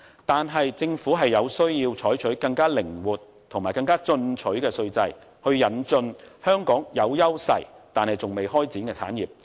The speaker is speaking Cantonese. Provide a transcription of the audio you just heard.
但是，政府有需要採取更靈活和進取的稅制，以引進香港有優勢但尚未開展的產業。